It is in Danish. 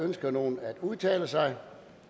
ønsker nogen at udtale sig